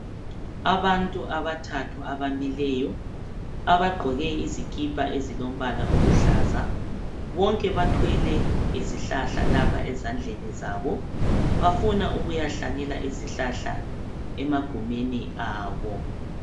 Abantu abathathu abamileyo abagqoke izikipa ezilombala eziluhlaza bonke bathwele izihlahla lapha ezandleni zabo bafuna ukuyahlanyela izihlahla emagumeni abo.